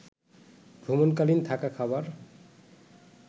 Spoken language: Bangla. ভ্রমণকালীন থাকা, খাবার